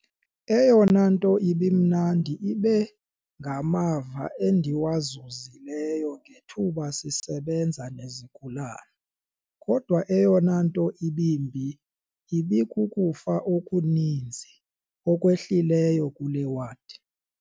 "Eyona nto ibimnandi ibe ngamava endiwazuzi leyo ngethuba ndisebenza nezigulana, kodwa eyona nto ibimbi ibikukufa okuni nzi okwehlileyo kule wadi."